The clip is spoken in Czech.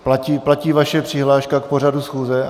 Platí vaše přihláška k pořadu schůze?